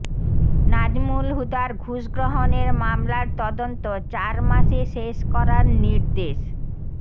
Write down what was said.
নাজমুল হুদার ঘুষ গ্রহণের মামলার তদন্ত চার মাসে শেষ করার নির্দেশ